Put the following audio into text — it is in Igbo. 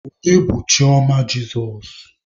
Onye bụ Chioma Jesus?